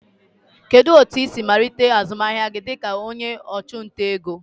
Kedu otu ị siri malite azụmahịa gị dịka onye ọchụnta ego?